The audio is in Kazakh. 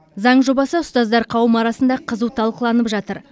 заң жобасы ұстаздар қауымы арасында қызу талқыланып жатыр